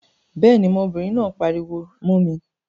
Béèni, ọmọbìnrin náà pariwo mó mi